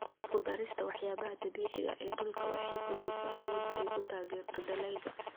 Ku darista waxyaabaha dabiiciga ah ee dhulka waxay kordhisaa awoodda ay ku taageerto dalagyada.